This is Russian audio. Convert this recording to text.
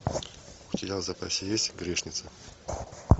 у тебя в запасе есть грешница